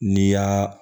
N'i y'a